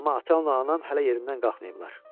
Amma ata-anam hələ yerindən qalxmayıblar.